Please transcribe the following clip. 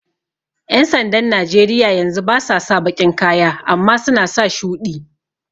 ƴan sandan Najeriya yanzu basa sa baƙin kaya amma suna sa shuɗi